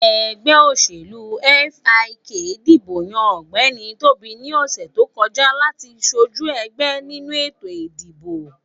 Ẹgbẹ́ òṣèlú FIK dìbò yàn Ọ̀gbẹ́ni Tóbi ní ọ̀sè tó kọjá láti sojú ẹgbẹ nínú ètò ìdìbò